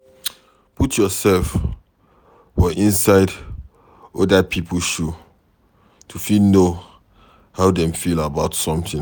Put yourself for inside oda pipo shoe to fit know how dem feel about something